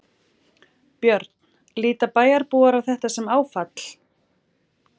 Björn: Líta bæjarbúar á þetta sem áfall?